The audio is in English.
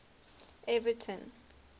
everton